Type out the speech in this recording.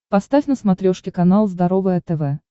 поставь на смотрешке канал здоровое тв